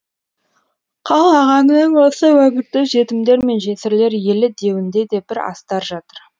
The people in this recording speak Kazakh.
қал ағаңның осы өңірді жетімдер мен жесірлер елі деуінде де бір астар жатыр